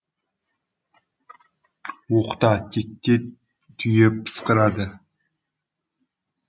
оқта текте түйе пысқырады